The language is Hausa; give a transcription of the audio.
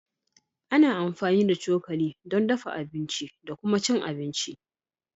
Ana amfani da cokali don dafa abinci da kuma cin abinci